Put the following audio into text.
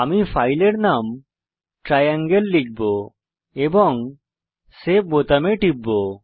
আমি ফাইলের নাম ট্রায়াঙ্গেল লিখব এবং সেভ বাটনে টিপব